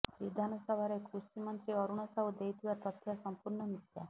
ବିଧାନସଭାରେ କୃଷି ମନ୍ତ୍ରୀ ଅରୁଣ ସାହୁ ଦେଇଥିବା ତଥ୍ୟ ସଂପୂର୍ଣ୍ଣ ମିଥ୍ୟା